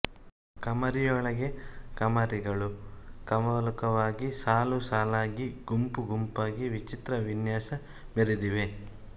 ಕಮರಿಯೊಳಗೆ ಕಮರಿಗಳು ಕವಲುಕವಲಾಗಿ ಸಾಲು ಸಾಲಾಗಿ ಗುಂಪು ಗುಂಪಾಗಿ ವಿಚಿತ್ರ ವಿನ್ಯಾಸ ಮೆರೆದಿವೆ